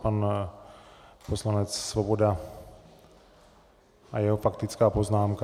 Pan poslanec Svoboda a jeho faktická poznámka.